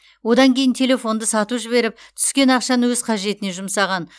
одан кейін телефонды сатып жіберіп түскен ақшаны өз қажетіне жұмсаған